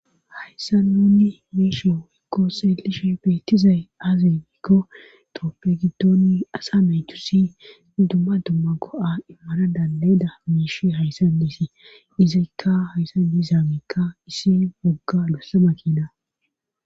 hayssa nunni miishe hoykko seelishe beettizay aazenikko trooppe giddoonni asa metusi dumma dumma go7a immara dandayeda miish hayssan diisi izakka hayssan diisaageekka issi wogga bossama kiida